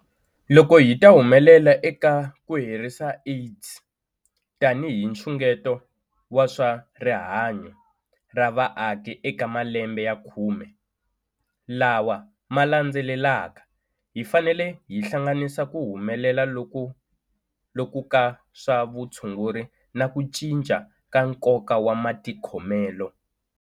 Loko hi ta humelela eka ku herisa AIDS tanihi nxungeto wa swa rihanyu ra vaaki eka malembe ya khume lawa ma landzelaka, hi fanele hi hlanganisa ku humelela loku ka swa vutshunguri na ku cinca ka nkoka wa matikhomelo.